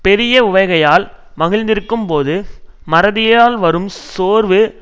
பெரிய உவகையால் மகிழ்ந்திருக்கும் போது மறதியால் வரும் சோர்வு